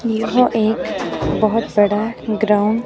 वह एक बहुत बड़ा ग्राउंड--